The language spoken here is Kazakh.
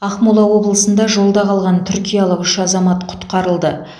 ақмола облысында жолда қалған түркиялық үш азамат құтқарылды